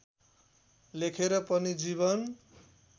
लेखेर पनि जीवन